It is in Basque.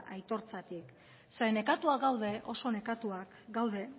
aitortzatik ze nekatuak gaude oso nekatuak gaude